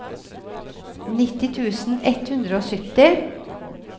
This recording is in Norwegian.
nitti tusen ett hundre og sytti